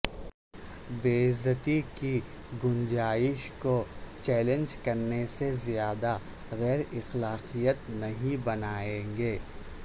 بے عزتی کی گنجائش کو چیلنج کرنے سے زیادہ غیر اخلاقیات نہیں بنائیں گے